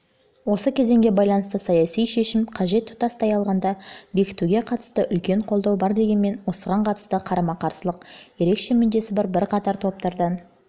осы кезеңге байланысты саяси шешім қажет тұтастай алғанда бекітуге қатысты үлкен қолдау бар дегенмен осыған қатысты қарама-қарсылық ерекше мүддесі бар бірқатар топтардан